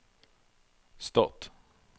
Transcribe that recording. stat